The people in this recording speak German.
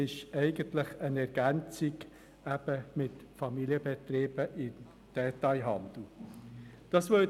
Die bestehende gesetzliche Regelung wird also nur mit den Familienbetrieben im Detailhandel ergänzt.